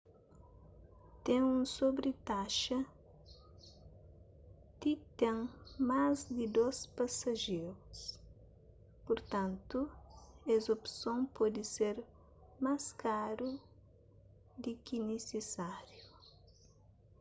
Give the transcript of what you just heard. ten un sobritaxa di ten más di 2 pasajerus purtantu es opson pode ser más karu di ki nisisáriu